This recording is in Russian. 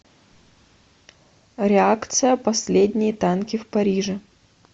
реакция последние танки в париже